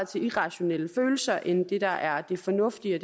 til irrationelle følelser end det der er det fornuftige